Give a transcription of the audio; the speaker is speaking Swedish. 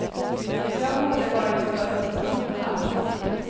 Jag borde ha varit född med solhatt.